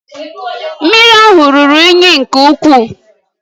Mmiri ahụ ruru unyi nke ukwuu